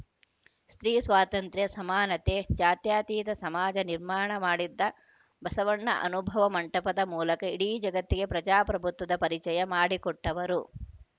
ಸ್ತ್ರೀ ಸ್ವಾತ್ರಂತ್ರ್ಯ ಸಮಾನತೆ ಜಾತ್ಯತೀತ ಸಮಾಜ ನಿರ್ಮಾಣ ಮಾಡಿದ್ದ ಬಸವಣ್ಣ ಅನುಭವ ಮಂಟಪದ ಮೂಲಕ ಇಡೀ ಜಗತ್ತಿಗೆ ಪ್ರಜಾಪ್ರಭುತ್ವದ ಪರಿಚಯ ಮಾಡಿಕೊಟ್ಟವರು